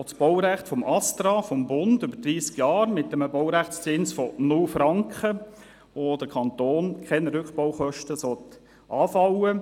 Auch das Baurecht des Bundesamts für Strassen (Astra) über dreissig Jahre mit einem Baurechtszins von 0 Franken, bei dem für den Kanton keine Rückbaukosten anfallen sollen.